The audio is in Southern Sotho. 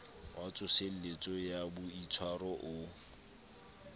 wa tsoseletso ya boitshwaro o